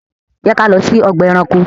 Jẹ́ ká lọ sí ọgbà ẹranko!